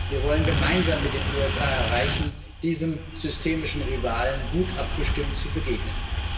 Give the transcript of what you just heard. Wir wollen gemeinsam mit den USA erreichen, diesem systemischen Rivalen gut abgestimmt zu begegnen.